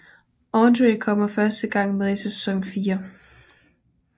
Audrey kommer første gang med i sæson 4